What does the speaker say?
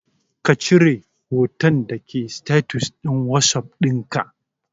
kacire hotan dake status din whatsapp dinka